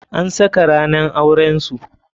An saka ranan auren su.